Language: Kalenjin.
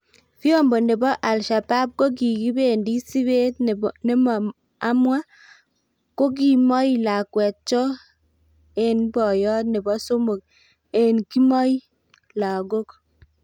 Vyombo nebo al-Shabab ko kikibendi sipet nemo amwa ko kimoi lakwet cho en boiyot nebo somok en kimoi lagok.